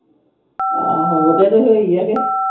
ਆਹੋ, ਉਹਦੇ ਤੋਂ ਹੀ ਹੋਈ ਆ ਕੇ।